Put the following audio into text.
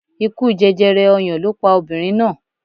Ikú jẹjẹrẹ ọyàn ló pa obìnrin náà.